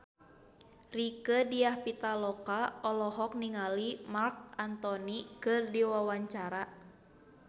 Rieke Diah Pitaloka olohok ningali Marc Anthony keur diwawancara